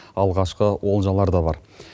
алғашқы олжалар да бар